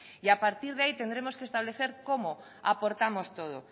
y a partir de ahí tendremos que establecer cómo aportamos todo